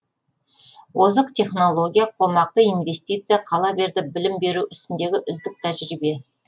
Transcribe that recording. озық технология қомақты инвестиция қала берді білім беру ісіндегі үздік тәжірибе